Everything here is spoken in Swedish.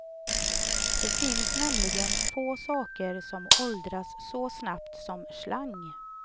Det finns nämligen få saker som åldras så snabbt som slang.